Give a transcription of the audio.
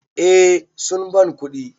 Eh sun ban kuɗi.